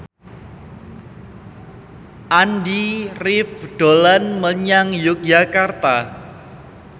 Andy rif dolan menyang Yogyakarta